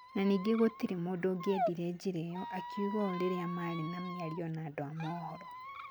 Na ningĩ gũtirĩ mũndũ ũngĩenda njĩra ĩyo, akiuga ũũ rĩrĩa marĩ na miario na andũ a mohoro.